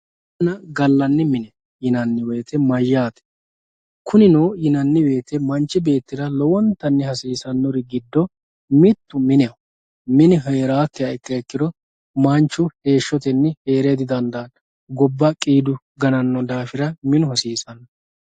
Minenna gaalanni minne yinanni woyitte mayyaate kuuninno yinanni woyite manchi beetira lowontanni hasisanori giddo mittu mineho minne herakiha ikiro manchu heshotenni heere didandanno gobba qiddu gananno daafira minnu haasisanno